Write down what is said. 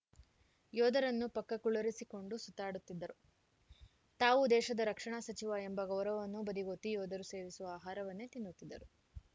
ಯೋಧರನ್ನು ಪಕ್ಕ ಕುಳ್ಳರಿಸಿಕೊಂಡು ಸುತ್ತಾಡುತ್ತಿದ್ದರು ತಾವು ದೇಶದ ರಕ್ಷಣಾ ಸಚಿವ ಎಂಬ ಗೌರವವನ್ನೂ ಬದಿಗೊತ್ತಿ ಯೋಧರು ಸೇವಿಸುವ ಆಹಾರವನ್ನೇ ತಿನ್ನುತ್ತಿದ್ದರು